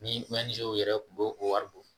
Ni yɛrɛ tun b'o o wari bɔ